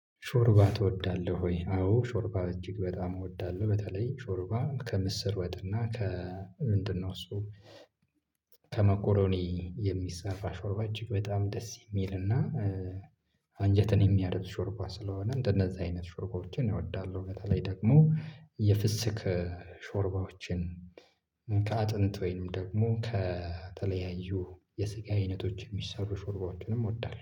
ሾርባ ትወዳለሁ ወይ? አዎ ሾርባ እጅግ በጣም እወዳለሁ በተለይ ሾርባ ከምስር ወጥና ከምንድነው እሱ ከመኮሮኒ የሚሰራ ሾርባ እጅግ በጣም ደስ የሚልና አንጀትን የሚያርስ ሾርባ ስለሆነ እንደነዛ አይነት ሾርባዎችን እወዳለሁ። በተለይ ደግሞ የፍስክ ሾርባዎችን ከአጥንት ወይም ደግሞ ከተለያዩ የስጋ አይነቶች የሚሰሩ ሾርባዎችንም እወዳለሁ